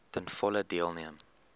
ten volle deelneem